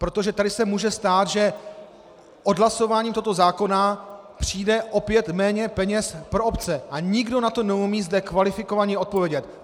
Protože tady se může stát, že odhlasováním tohoto zákona přijde opět méně peněz pro obce, a nikdo na to neumí zde kvalifikovaně odpovědět.